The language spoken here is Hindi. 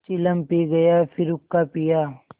चिलम पी गाया फिर हुक्का पिया